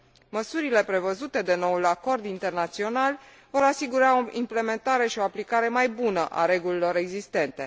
Măsurile prevăzute de noul acord internațional vor asigura o implementare și o aplicare mai bună a regulilor existente.